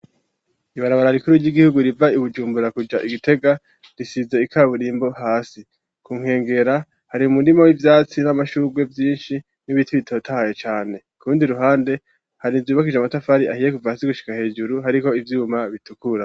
Ibarabara rikuru ry'igihugu riva Bujumbura kuya Gitega risize ikaburimbo hasi .kunkengera hari umurimo w'ivyatsi n'amashurrwe vyinshi n'ibiti bitotahaye cane kurundi ruhande hari inzibakije amatafari ahiye kuva hasi gushika hejuru hariko ivyuma bitukura